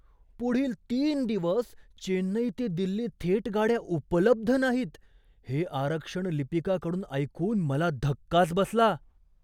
पुढील तीन दिवस चेन्नई ते दिल्ली थेट गाड्या उपलब्ध नाहीत हे आरक्षण लिपिकाकडून ऐकून मला धक्काच बसला.